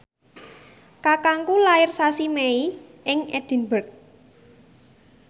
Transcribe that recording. kakangku lair sasi Mei ing Edinburgh